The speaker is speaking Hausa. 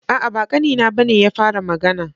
A'a, ba ƙanina ba ne ya fara magana.